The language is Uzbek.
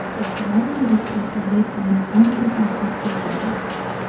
Festival doirasida turli quvnoq konkurslar o‘tkaziladi.